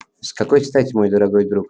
с какой стати мой дорогой друг